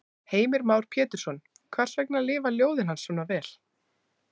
Heimir Már Pétursson: Hvers vegna lifa ljóðin hans svona vel?